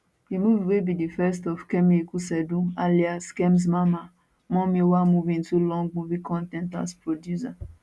di movie wey be di first of kemi ikuseedun alias kemz mama mummy wa move into long movie con ten t as producer